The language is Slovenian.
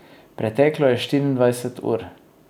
Preteklo je štiriindvajset ur.